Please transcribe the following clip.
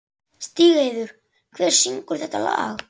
Stígheiður, hver syngur þetta lag?